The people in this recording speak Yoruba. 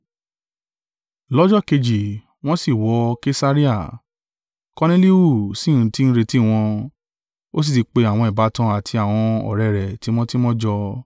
Lọ́jọ́ kejì wọ́n sì wọ Kesarea, Korneliu sì ti ń retí wọn, ó sì ti pe àwọn ìbátan àti àwọn ọ̀rẹ́ rẹ̀ tímọ́tímọ́ jọ.